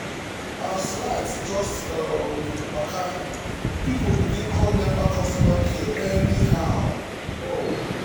um as light just um waka people begin call nepa customer care anyhow. um